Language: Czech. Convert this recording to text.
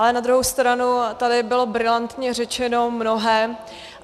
Ale na druhou stranu tady bylo brilantně řečeno mnohé.